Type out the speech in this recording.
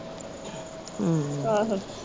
ਆਹੋ।